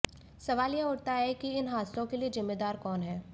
सवाल यह उठता है कि इन हादसों के लिए ज़िम्मेदार कौन है